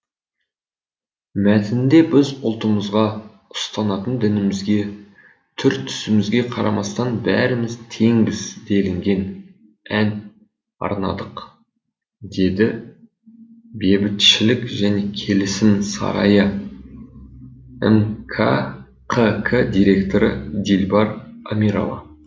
мәтінде біз ұлтымызға ұстанатын дінімізге түр түсімізге қарамастан бәріміз теңбіз делінген ән арнадық деді бебітшілік және келісім сарайы мкқк директоры дилбар амирова